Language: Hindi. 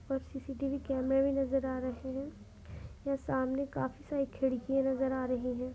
और सीसीटीवी कैमरे भी नजर आ रहे हैं यहाँ सामने काफी सारी खिड़कियां नजर आ रही है।